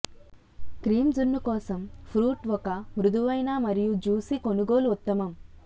cream జున్ను కోసం fruit ఒక మృదువైన మరియు జ్యుసి కొనుగోలు ఉత్తమం